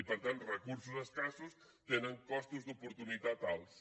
i per tant recursos escassos tenen costos d’oportunitat alts